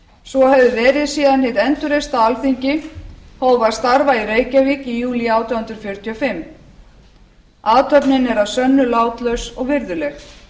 svo hefur verið síðan hið endurreista alþingi hóf að starfa í reykjavík í júlí átján hundruð fjörutíu og fimm athöfnin er að sönnu látlaus og virðuleg